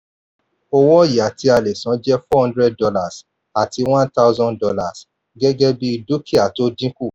owó ọ̀yà tí a lè san jẹ́ $400 àti $1000 gẹ́gẹ́ bí dúkìá tó dín kù.